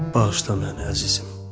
Bağışla məni, əzizim.